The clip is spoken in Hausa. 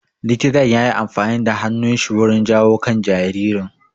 Likitan yayi amfani da hannun shi wurin jawo kan jaririn